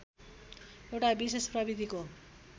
एउटा विशेष प्रविधिको